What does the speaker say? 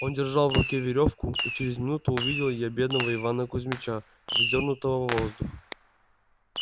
он держал в руке верёвку и через минуту увидел я бедного ивана кузмича вздёрнутого в воздух